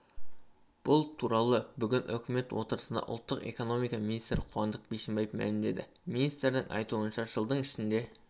бұл туралы бүгін үкімет отырысында ұлттық экономика министрі қуандық бишімбаев мәлімдеді министрдің айтуынша жылдың ішінде